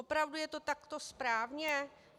Opravdu je to takto správně?